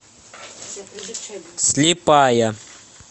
слепая